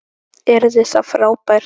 Yrði það frábært?